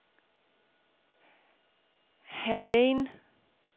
Hallein